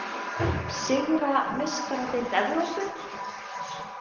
Sigra Meistaradeild Evrópu?